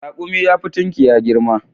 Raƙumi yafi tunkiya girma.